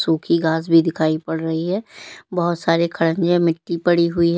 सुखी घास भी दिखाई पड़ रही है बहोत सारे खड़ंजे मिट्टी पड़ी हुई है।